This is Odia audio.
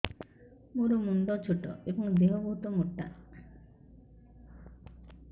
ମୋ ମୁଣ୍ଡ ଛୋଟ ଏଵଂ ଦେହ ବହୁତ ମୋଟା